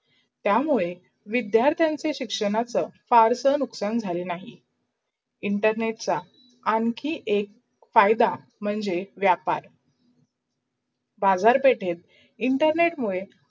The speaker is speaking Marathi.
या मूढे विध्यार्थनाछे शिक्षणाच् फार नुकसान झाले नही. internet चा आणखी एक फायदा म्हणजे व्यापार बाजारपेठेत internet मुडे